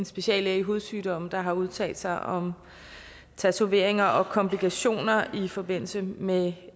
speciallæge i hudsygdomme der har udtalt sig om tatoveringer og komplikationer i forbindelse med